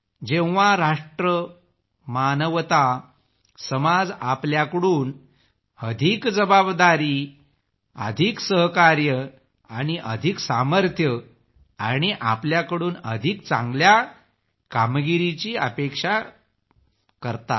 जेव्हा राष्ट्र मानवता समाज आपल्याकडून अधिक जबाबदारी सहकार्य आणि अधिक सामर्थ्य आणि आपल्याकडून अधिक चांगल्या कामगिरीची अपेक्षा करतात